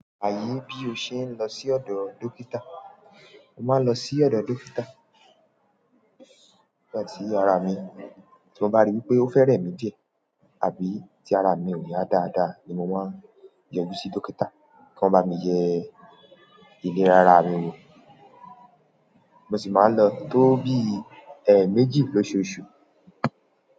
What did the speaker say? Laye bí ó ṣe ń lọ sí ọ̀dọ̀ dókítà. Mo máa ń lọ sí ọ̀dọ̀ dókítà nígbà tí ara mi, tí mo bá ríi wípé ó fẹ́ rẹ̀ mí díẹ̀, àbí tí ara mi ò yá dáadáa ni mo máa ń yọjú sí dókítà kí wọ́n máa yẹ ìlera ara mi mọ. Mo sì máa ń lọ tó bí ẹẹmeji lóṣùọ̀ṣù.